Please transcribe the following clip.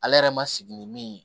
Ale yɛrɛ ma sigi ni min ye